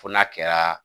Fo n'a kɛra